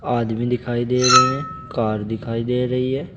आदमी दिखाई दे रहे है कार दिखाई दे रही है।